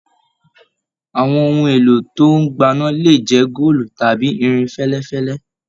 Àwọn ohun èlò tó n gbana le jẹ góòlù tàbí irin fẹlẹfẹlẹ.